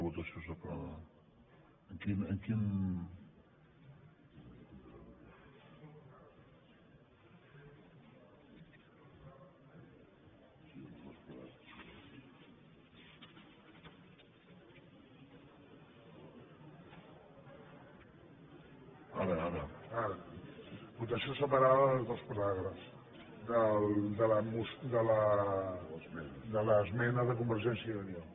votació separada dels dos paràgrafs de l’esmena de convergència i unió